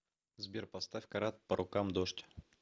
сбер поставь карат по рукам дождь